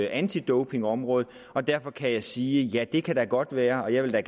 antidopingområdet derfor kan jeg sige ja det kan da godt være jeg vil da